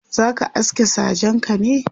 zaka aske sajenka ne?.